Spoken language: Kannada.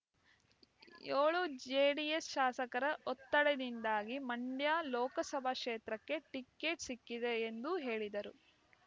ಏಳು ಜೆಡಿಎಸ್ ಶಾಸಕರ ಒತ್ತಡದಿಂದಾಗಿ ಮಂಡ್ಯ ಲೋಕಸಭಾ ಕ್ಷೇತ್ರಕ್ಕೆ ಟಿಕೆಟ್ ಸಿಕ್ಕಿದೆ ಎಂದು ಹೇಳಿದರು